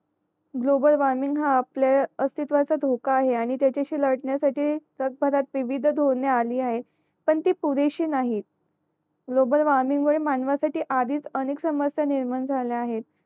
global warming हा आपल्या अस्तित्वचा धोका आहे आणि त्याच्याशी लडण्यासाठी जगभरात विविध धोरणे अली आहे पण ती पुरेशी नाहीती ग्लोबल वॉर्मिंग मानव साठी आधीच अनेक समस्या निर्माण झल्या आहेत